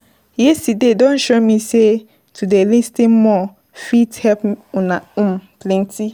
Yesterday don show me sey to dey lis ten more fit help um plenty.